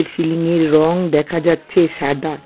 Ceiling -এর রং দেখা যাচ্ছে সাদা।